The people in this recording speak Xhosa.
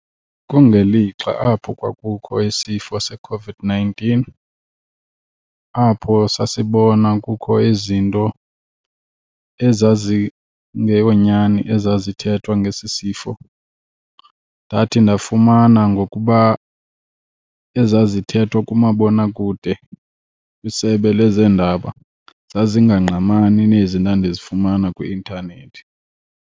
Kungelixa apho kwakukho isifo seCOVID-nineteen apho sasibona kukho izinto ezazingeyonyani ezazithethwa ngesi sifo. Ndathi ndafumana ngokuba ezazithethwa kumabonakude kwisebe lezeendaba zazingangqamani nezi ndandizifumana kwi-intanethi.